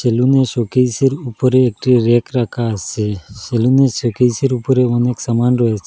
সেলুনে র শোকেসে র উপরে একটি রেক রাখা আছে সেলুনে র শোকেসে র উপরে অনেক সামান রয়ছে।